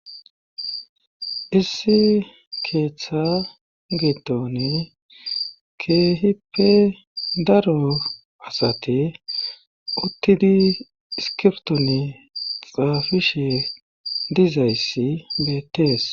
issi keeththa geetone keehippe daro asate uttidi iskiptone xaafishe dizayssi beetees